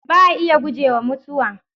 Ba a iya gujewa Mutuwa